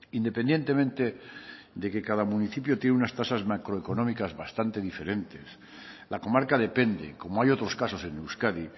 independientemente de que cada municipio tiene unas tasas macroeconómicas bastante diferentes la comarca depende como hay otros casos en euskadi